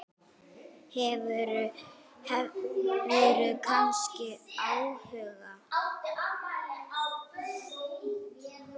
Hefurðu kannski áhuga?